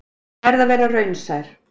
Ég verð að vera raunsær.